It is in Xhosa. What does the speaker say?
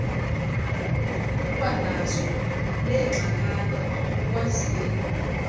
ukwanazo neengxakana ukwazile